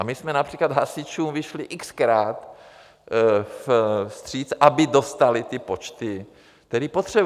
A my jsme například hasičům vyšli x-krát vstříc, aby dostali ty počty, které potřebují.